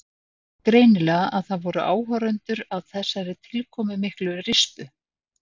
Vissi greinilega að það voru áhorfendur að þessari tilkomumiklu rispu.